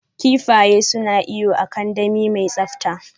Kifaye suna iyo a kandami mai tsabta.